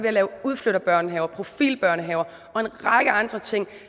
at lave udflytterbørnehaver profilbørnehaver og en række andre ting